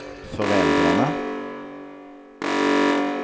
föräldrarna